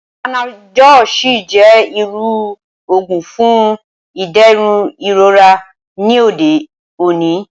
Panadọ́l sì jẹ́ irú òògùn fún ìdẹ̀rùn ìrora ní òde òní